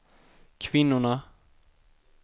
kvinnorna